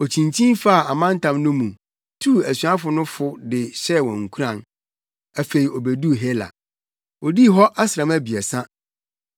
Okyinkyin faa amantam no mu, tuu asuafo no fo de hyɛɛ wɔn nkuran. Afei obeduu Hela. Odii hɔ asram abiɛsa.